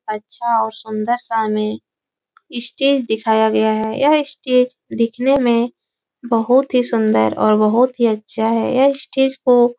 अच्छा और सुंदर सा हमें स्टेज दिखाया गया है। यह स्टेज दिखने में बहोत ही सुन्दर और बहोत ही अच्छा है। यह स्टेज को --